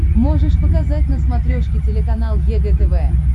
можешь показать на смотрешке телеканал егэ тв